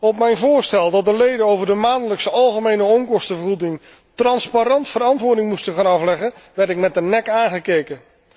Op mijn voorstel dat de leden over de maandelijkse algemene onkostenvergoeding transparant verantwoording moesten gaan afleggen, werd ik met de nek aangekeken.